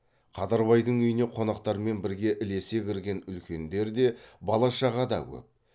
қадырбайдың үйіне қонақтармен бірге ілесе кірген үлкендер де бала шаға да көп